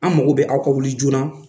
An mago bɛ aw ka wuli joona.